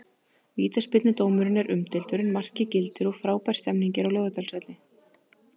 Vítaspyrnudómurinn er umdeildur en markið gildir og frábær stemning er á Laugardalsvelli.